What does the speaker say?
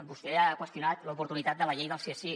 vostè ha qüestionat l’oportunitat de la llei del sí és sí